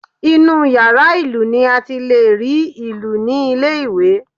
Inú yàrá ìlù ni a ti lè rí ìlù ní ilé ìwé